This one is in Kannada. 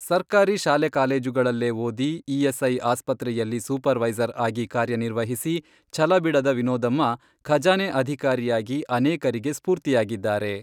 ಸರ್ಕಾರಿ ಶಾಲೆ ಕಾಲೇಜುಗಳಲ್ಲೇ ಓದಿ, ಇಎಸ್ಐ ಆಸ್ಪತ್ರೆಯಲ್ಲಿ ಸೂಪರ್ ವೈಸರ್ ಆಗಿ ಕಾರ್ಯನಿರ್ವಹಿಸಿ, ಛಲಬಿಡದ ವಿನೋದಮ್ಮ ಖಜಾನೆ ಅಧಿಕಾರಿಯಾಗಿ ಅನೇಕರಿಗೆ ಸ್ಫೂರ್ತಿಯಾಗಿದ್ದಾರೆ.